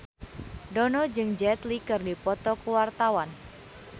Dono jeung Jet Li keur dipoto ku wartawan